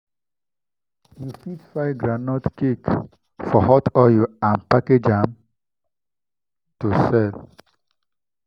you fit fry groundnut cake for hot oil and package am to sell.